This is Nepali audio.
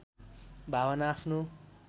भावना आफ्नो